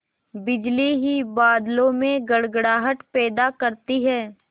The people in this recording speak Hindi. बिजली ही बादलों में गड़गड़ाहट पैदा करती है